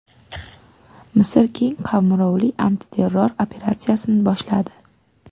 Misr keng qamrovli antiterror operatsiyasini boshladi.